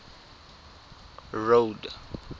road